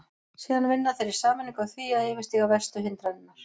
Síðan vinna þeir í sameiningu að því að yfirstíga verstu hindranirnar.